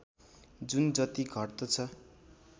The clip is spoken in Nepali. जुन जति घट्दछ